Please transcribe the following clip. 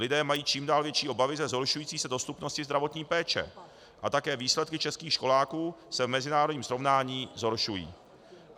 Lidé mají čím dál větší obavy ze zhoršující se dostupnosti zdravotní péče a také výsledky českých školáků se v mezinárodním srovnání zhoršují.